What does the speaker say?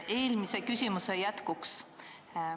Eelmise küsimuse jätkuks.